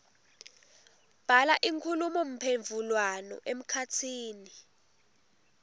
bhala inkhulumomphendvulwano emkhatsini